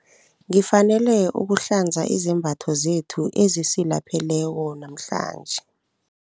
Ngifanele ukuhlanza izembatho zethu ezisilapheleko namhlanje.